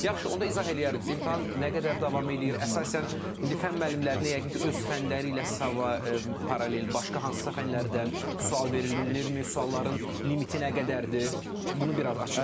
Yaxşı, onda izah eləyərdiz, imtahan nə qədər davam eləyir, əsasən indi fənn müəllimlərinə yəqin ki, öz fənləri ilə paralel başqa hansısa fənlərdən sual verilirmi, sualların limiti nə qədərdir?